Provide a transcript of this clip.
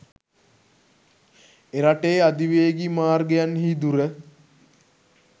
එරටේ අධිවේගී මාර්ගයන්හි දුර